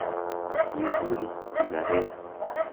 Matigul sikaret .